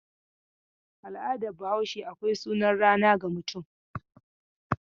A al'adar Bahaushe akwai sunan rana ga mutum.